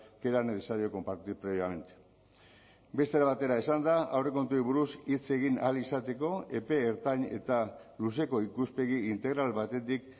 que era necesario compartir previamente beste era batera esanda aurrekontuei buruz hitz egin ahal izateko epe ertain eta luzeko ikuspegi integral batetik